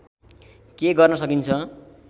के गर्न सकिन्छ